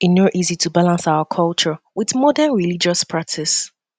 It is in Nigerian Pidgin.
e no easy to balance our culture wit modern religious practices